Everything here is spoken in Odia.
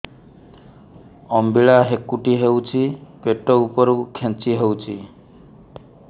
ଅମ୍ବିଳା ହେକୁଟୀ ହେଉଛି ପେଟ ଉପରକୁ ଖେଞ୍ଚି ହଉଚି